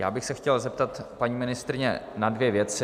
Já bych s chtěl zeptat paní ministryně na dvě věci.